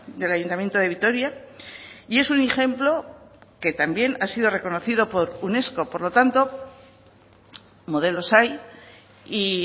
del ayuntamiento de vitoria y es un ejemplo que también ha sido reconocido por unesco por lo tanto modelos hay y